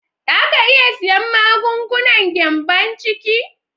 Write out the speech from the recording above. Za a iya siyan magungunan gyambon ciki?